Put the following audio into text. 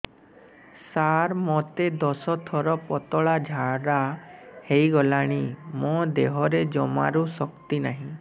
ସାର ମୋତେ ଦଶ ଥର ପତଳା ଝାଡା ହେଇଗଲାଣି ମୋ ଦେହରେ ଜମାରୁ ଶକ୍ତି ନାହିଁ